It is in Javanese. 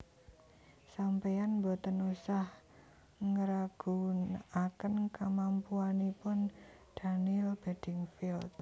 Sampean mboten usah ngraguaken kemampuanipun Daniel Beddingfield